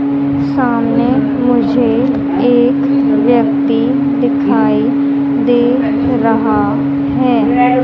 सामने मुझे एक व्यक्ति दिखाई दे रहा है।